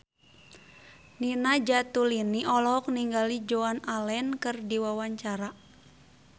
Nina Zatulini olohok ningali Joan Allen keur diwawancara